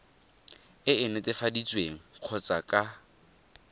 e e netefaditsweng kgotsa ka